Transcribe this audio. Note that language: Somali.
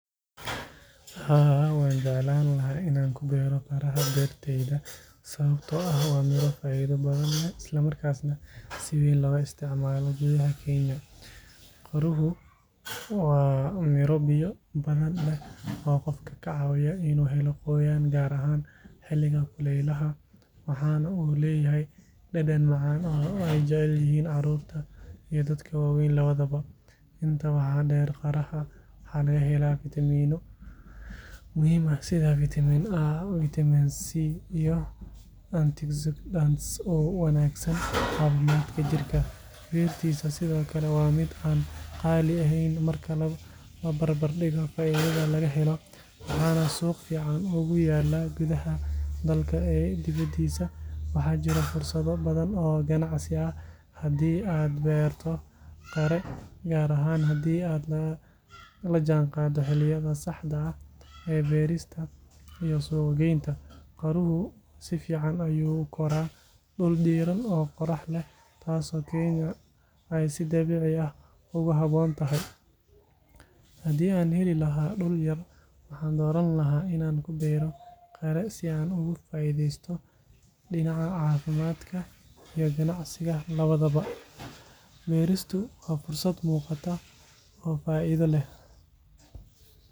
Haa wanjeclani lahay Ina kuugaroh faracdeyda sawabta oo Miro qayli bathan Isla markasnah setha lo isticmaloh guuthah keenya, qiiroho wa Mira biya bathan leen oo qoofka kacawisoh inu heeloh qoyanga kaar ahaan xelika kulelaha waxana oo leeyahaya dadan macan oo jaceelyahon carurta iyo dadka waweyn lawadabo, inta waxa dheer qaraha waxalagahelah vitaamino muhim aah setha vitaminc iyoh oo u wanagsan cafimdkaa jirkaa beerta sethokali wa mid qaali aheen labarbadikoh faithatha lagaheloh Wana suuqa fican ugu yalah kudaha dalka debadisa waxajirah fursadokali oo kanacsi handi aa beertoh qiiraha kaar ahaan handi aa lajanqadoh xelika saxdah ee beerista iyoh suqqgeynta, qiiruhu sifican ayu u korah si deeran oo qoraxleeh taaso keenya aa sidabeci aah ugu haboontahay handi aa heli lahay dul yaar waxa dooranlaha Ina kubeertoh qiiro si aa ugu faitheystoh dinaca cafimd iyo kanacsika lawadabo beeristo wa fursat muqaatah oo faitha leeh.